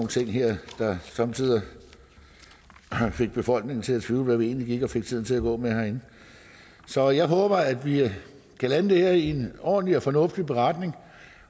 ting her der somme tider fik befolkningen til at tvivle på hvad vi egentlig gik og fik tiden til at gå med herinde så jeg håber at vi kan lande det her i en ordentlig og fornuftig beretning